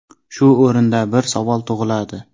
Shu o‘rinda bir savol tug‘iladi.